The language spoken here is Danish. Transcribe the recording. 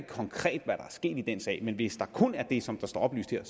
konkret er sket i den sag men hvis der kun er sket det som der står oplyst her